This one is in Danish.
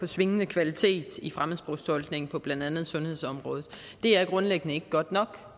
svingende kvalitet i fremmedsprogstolkning på blandt andet sundhedsområdet det er grundlæggende ikke godt nok